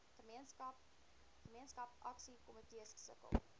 gemeenskap aksiekomitees sukkel